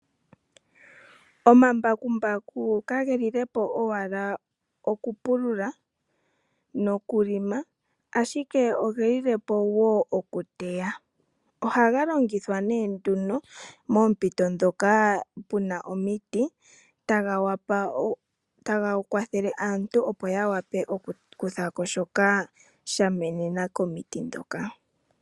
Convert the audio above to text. Omambakumbaku kageli lepo owala oku pulula noku longa ashike, ogeli lepo wo oku teya. Ohaga longithwa nee nduno moompito moka mu na omiti, taga kwathele aantu opo ya wape oku kuthako shoka sha menena komiti ndhoka.